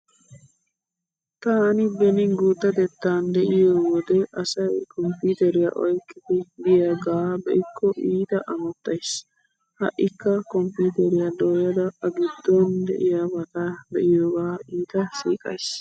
Taani beni guuttatettan de'iyo wode asay komppiiteriya oyqqidi biyagaa be'ikko iita amottays. Ha"ikka komppiiteriya dooyada a giddon diyabata be'iyogaa iita siiqays.